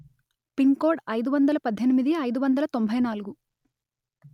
pin కోడ్అయిదు వందలు పధ్ధెనిమిది అయిదు వందలు తొంభై నాలుగు